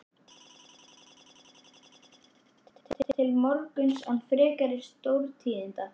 Leið svo veislan allt til morguns án frekari stórtíðinda.